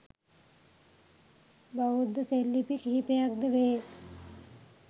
බෞද්ධ සෙල්ලිපි කිහිපයක්ද වේ.